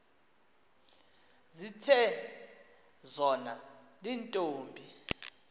zithe zona iintombi